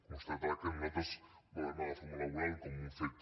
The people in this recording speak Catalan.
constatar que nosaltres valorem la reforma laboral com un fet